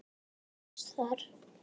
Það er ekkert pláss þar.